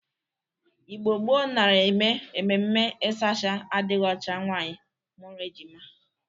Igbo gboo nara eme ememe ịsachasa adịghị ọcha nwaanyị mụrụ ejima.